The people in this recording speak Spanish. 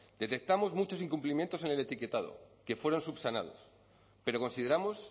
detectamos muchos incumplimientos en el etiquetado que fueron subsanados pero consideramos